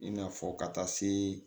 I n'a fɔ ka taa se